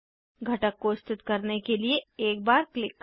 घटक को स्थित करने के लिए एक बार क्लिक करें